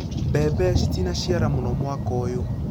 Mbembe citinaciara mũno mwaka ũyũ.